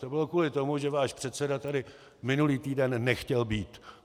To bylo kvůli tomu, že váš předseda tady minulý týden nechtěl být.